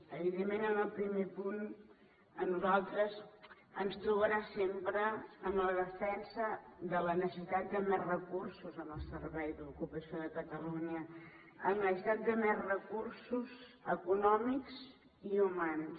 evidentment en el primer punt a nosaltres ens trobarà sempre en la defensa de la necessitat de més recursos en el servei d’ocupació de catalunya en la necessitat de més recursos econòmics i humans